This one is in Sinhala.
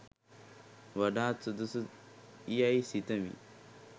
වඩාත් සුදුසු යැයි සිතමි.